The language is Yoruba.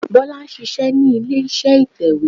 Bólá ṣíṣẹ ní ilé iṣẹ́ ìtẹ̀wé